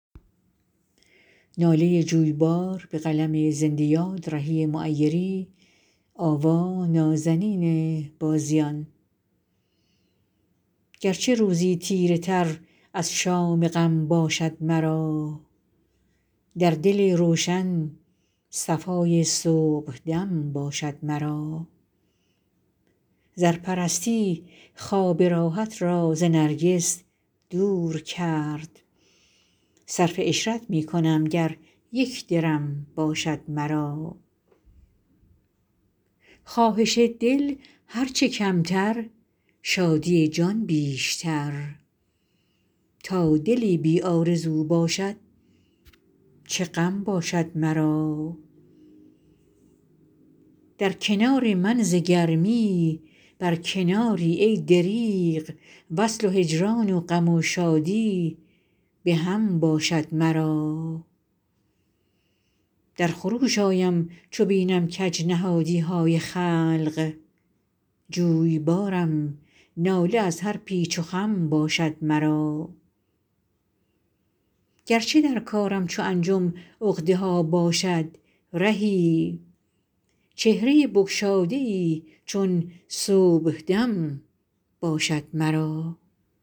گرچه روزی تیره تر از شام غم باشد مرا در دل روشن صفای صبحدم باشد مرا زرپرستی خواب راحت را ز نرگس دور کرد صرف عشرت می کنم گر یک درم باشد مرا خواهش دل هرچه کمتر شادی جان بیشتر تا دلی بی آرزو باشد چه غم باشد مرا در کنار من ز گرمی بر کناری ای دریغ وصل و هجران غم و شادی به هم باشد مرا در خروش آیم چو بینم کج نهادی های خلق جویبارم ناله از هر پیچ و خم باشد مرا گرچه در کارم چو انجم عقده ها باشد رهی چهره بگشاده ای چون صبحدم باشد مرا